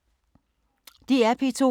DR P2